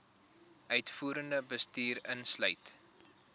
uitvoerende bestuur insluit